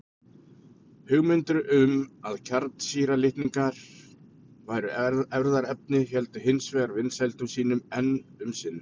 Hugmyndir um að kjarnsýra litninga væri erfðaefni héldu hins vegar vinsældum sínum enn um sinn.